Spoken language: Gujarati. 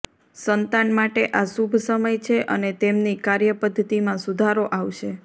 સંતાન માટે આ શુભ સમય છે અને તેમની કાર્ય પદ્ધતિમાં સુધારો આવશે